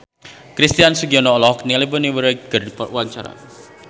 Christian Sugiono olohok ningali Bonnie Wright keur diwawancara